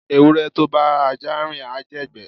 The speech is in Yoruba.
ewure to bá aja rín, a jé igbe